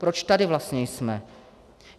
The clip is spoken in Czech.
Proč tady vlastně jsme?